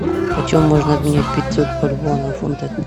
почем можно обменять пятьсот бальбоа на фунты